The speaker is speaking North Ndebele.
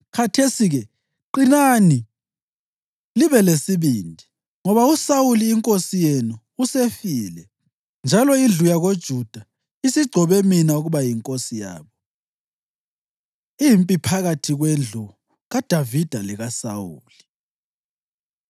Khathesi-ke qinani libe lesibindi, ngoba uSawuli inkosi yenu usefile, njalo indlu yakoJuda isigcobe mina ukuba yinkosi yabo.” Impi Phakathi Kwendlu KaDavida LekaSawuli